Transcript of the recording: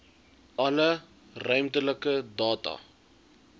alle ruimtelike data